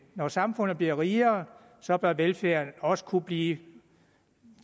når samfundet bliver rigere så bør velfærden også kunne blive